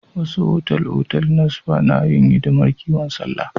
Wasu otal-otal na spa na yin hidimar kiwon lafiya.